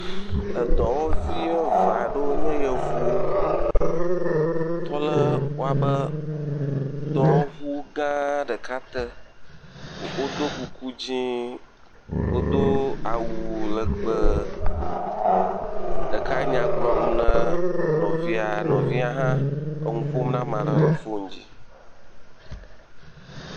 Dɔwɔvi eve aɖewo nye yevuwo tɔ ɖe woƒe dɔwɔŋu gã ɖeka te. Wodo kuku dzɛ̃, wodo awu legbẽ, ɖeka nya gblɔm ne nɔvia, nɔvia hã nu ƒom ne ame aɖe le foni dzi.